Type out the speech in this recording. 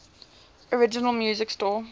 original music score